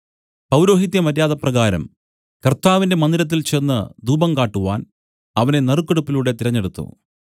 പൗരോഹിത്യമര്യാദപ്രകാരം കർത്താവിന്റെ മന്ദിരത്തിൽ ചെന്ന് ധൂപം കാട്ടുവാൻ അവനെ നറുക്കെടുപ്പിലൂടെ തെരഞ്ഞെടുത്തു